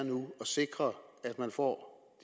sikre at man får